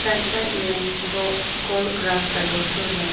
Side में गो गोल ग्रास दो ठो है।